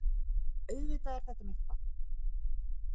Auðvitað er þetta mitt barn